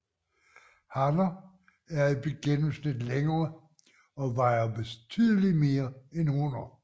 Hanner er i gennemsnit længere og vejer betydeligt mere end hunner